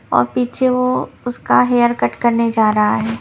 और पीछे वो उसका हेयर कट करने जा रहा है।